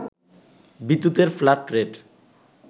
বিদ্যুতের flat rate